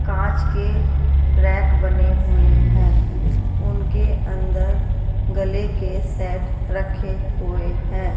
कांच के रैक बने हुए हैं उनके अंदर गले के सेट रखे हुए हैं।